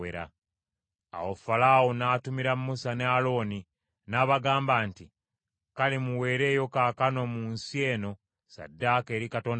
Awo Falaawo n’atumira Musa ne Alooni, n’abagamba nti, “Kale, muweereeyo wano mu nsi eno ssaddaaka eri Katonda wammwe.”